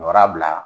Wara bila